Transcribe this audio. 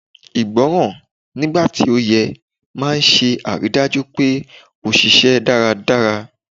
Ìgbọràn, nigba ti o yẹ, maa n se ariidaju pe o ṣiṣẹ daradara